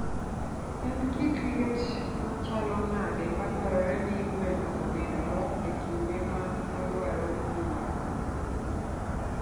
En kit liet machalo nade madwarore ni gweno obedgo e kinde ma odwaro nyuol?